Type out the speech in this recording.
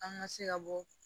An ka se ka bɔ